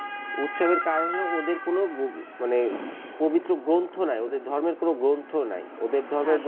উৎসবের কারণ হল ওদের কোন মানে পবিত্র গ্রন্থ নাই ধর্মের কোন গ্রন্থ নাই ওদের ধর্মের,